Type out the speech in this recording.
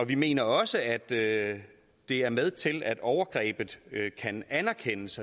vi mener også at det at det er med til at overgrebet kan anerkendes